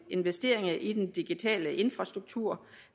investeringer i den digitale infrastruktur